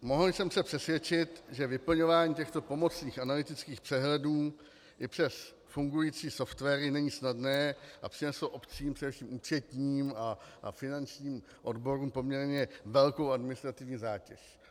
Mohl jsem se přesvědčit, že vyplňování těchto pomocných analytických přehledů i přes fungující softwary není snadné a přineslo obcím, především účetním a finančním odborům, poměrně velkou administrativní zátěž.